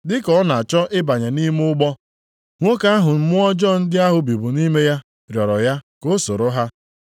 Dị ka ọ na-achọ ịbanye nʼime ụgbọ, nwoke ahụ mmụọ ọjọọ ndị ahụ bibu nʼime ya rịọrọ ya ka o soro ha.